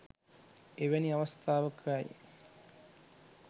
එවැනි අවස්ථාවකයි